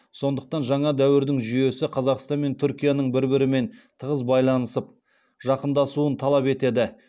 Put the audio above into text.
сондықтан жаңа дәуірдің жүйесі қазақстан мен түркияның бір бірімен тығыз байланысып жақындасуын талап етеді